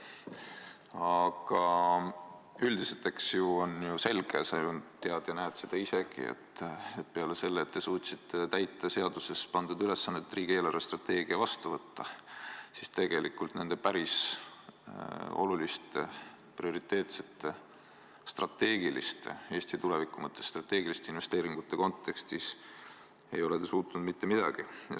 Aga üldiselt on selge – sa tead ja näed seda isegi –, et peale selle, et te suutsite täita seadusega teile pandud ülesande riigi eelarvestrateegia vastu võtta, ei suutnud te väga oluliste, prioriteetsete ja Eesti tuleviku mõttes strateegiliste investeeringute koha pealt mitte midagi.